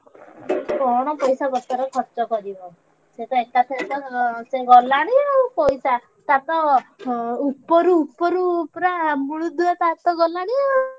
କଣ ପାଇସାପତ୍ର ଖର୍ଚ୍ଚ କରିବ ସିଏ ତ ଏକାଥରେ ତ ଗଲାଣି ଆଉ ପଇସା ଟାର ତ ଉପରୁ ଉପରୁ ପୁରା ମୂଳ ଦୁଆ ତାର ତ ଗଲାଣି ଆଉ।